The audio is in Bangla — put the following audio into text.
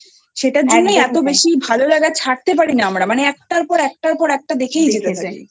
সেটার জন্যই এতো বেশি ভালো লাগা ছাড়তে পারি না আমরা মানে একটার পর একটার পর একটা দেখেই যেতে চাই